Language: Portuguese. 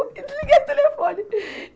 E desliguei o telefone.